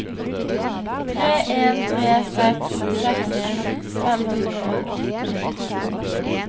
tre en tre seks seksten fem hundre og åtti